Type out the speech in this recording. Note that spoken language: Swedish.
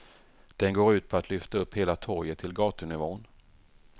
Den går ut på att lyfta upp hela torget till gatunivån.